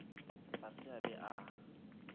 ga se a be a